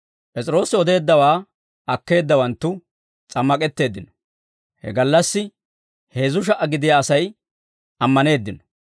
P'es'iroosi odeeddawaa akkeeddawanttu s'ammak'etteeddino; he gallassi heezzu sha"a gidiyaa Asay ammaneeddino.